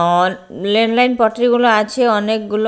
ওর rail line পট্রি গুলো আছে অনেক গুলো--